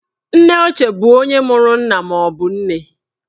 Nneochie bụ onye mụrụ nna maọbụ nne.